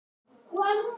Ertu að íhuga það?